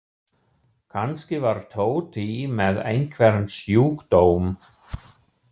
Kannski var Tóti með einhvern sjúkdóm.